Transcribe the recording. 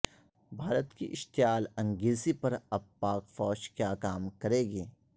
بھارت کی اشتعال انگیزی پر اب پاک فوج کیا کام کرے گی